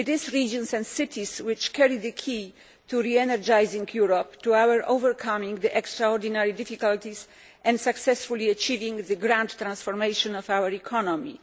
Regions and cities carry the key to re energising Europe in order to overcome its extraordinary difficulties and to successfully achieving the transformation of our economy.